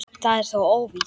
Það er þó óvíst.